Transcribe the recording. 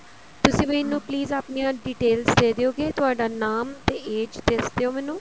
ਤੁਸੀਂ ਮੈਨੂੰ please ਆਪਣੀਆ details ਦੇ ਦਿਓਗੇ ਤੁਹਾਡਾ ਨਾਮ ਤੇ age ਦੱਸ ਦਿਓ ਮੈਨੂੰ